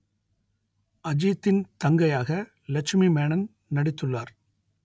அஜித்தின் தங்கையாக லட்சுமி மேனன் நடித்துள்ளார்